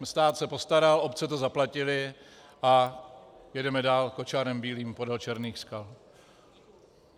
Stát se postaral, obce to zaplatily a jedeme dál kočárem bílým podél černých skal.